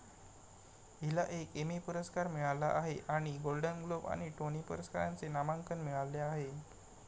हिला एक एमी पुरस्कार मिळाला आहे आणि गोल्डन ग्लोब आणि टोनी पुरस्कारांचे नामांकन मिळाले आहे.